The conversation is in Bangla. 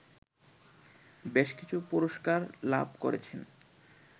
বেশকিছু পুরস্কার লাভ করেছেন